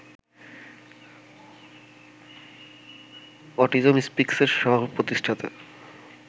autism স্পিকসের সহ-প্রতিষ্ঠাতা